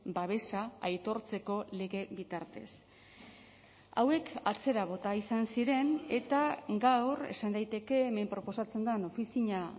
babesa aitortzeko lege bitartez hauek atzera bota izan ziren eta gaur esan daiteke hemen proposatzen den ofizina